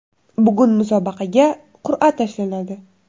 Bugun musobaqaga qur’a tashlanadi.